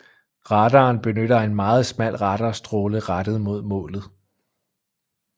Radaren benytter en meget smal radarstråle rettet mod målet